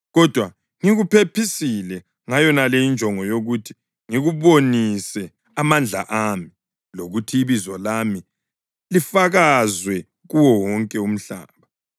Kodwa ngikuphephisile ngayonale injongo yokuthi ngikubonise amandla ami, lokuthi ibizo lami lifakazwe kuwo wonke umhlaba.